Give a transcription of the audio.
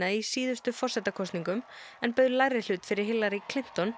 í síðustu forsetakosningum en beið lægri hlut fyrir Hillary